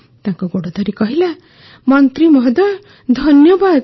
ତାଙ୍କ ଗୋଡ଼ ଧରି କହିଲା ମନ୍ତ୍ରୀ ମହୋଦୟ ଧନ୍ୟବାଦ